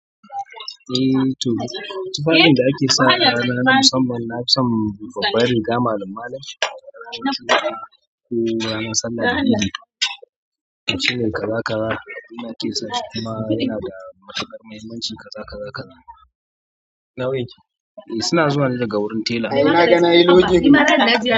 Eh to, tufafin da ake sawa a rana na musamman na fi son babbar riga malim-malim. Eh ranar sallah da idi, shine kaza kaza yana kusa kuma yana da matuƙar muhimmanci kaza kaza kaza. E suna zuwa daga wurin tela.